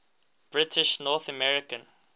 british north american